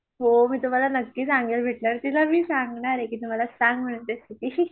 हो मी तुम्हाला नक्की सांगेन भेटल्यावर तिला मी सांगणार आहे की तू मला सांग रेसेपी